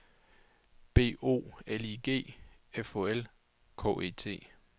B O L I G F O L K E T